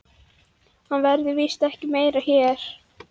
Hann verður víst ekki meira hér.